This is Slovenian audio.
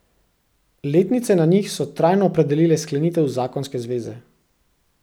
Letnice na njih so trajno opredelile sklenitev zakonske zveze.